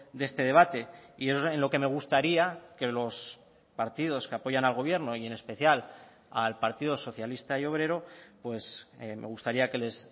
de este debate y en lo que me gustaría que los partidos que apoyan al gobierno y en especial al partido socialista y obrero pues me gustaría que les